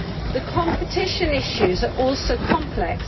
The competition issues are also complex.